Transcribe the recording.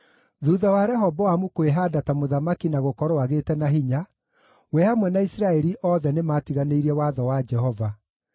Thuutha wa Rehoboamu kwĩhaanda ta mũthamaki na gũkorwo agĩte na hinya, we hamwe na Isiraeli yothe nĩmatiganĩirie watho wa Jehova.